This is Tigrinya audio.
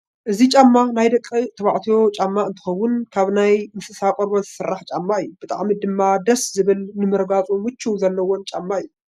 እዚ ጫማ ናይ ደቂ ተባዕትዮ ጫማ እንትከውን ካብ ናይ እንስሳት ቆርበት ዝስራሕ ጫማ እዩ። ብጣዕሚ ድማ ደስ ዝብልን ንምርጋፁ ምቸት ዘለዎን ጫማ እዩ።